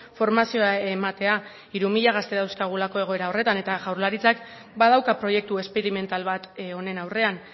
formazioa ematea hiru mila gazte dauzkagulako egoera horretan eta jaurlaritzak badauka proiektu esperimental bat honen aurrean